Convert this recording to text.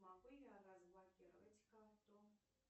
могу я разблокировать карту